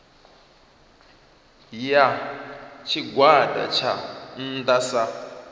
ya tshigwada tsha nnda sa